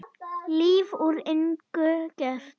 Líf úr engu gert.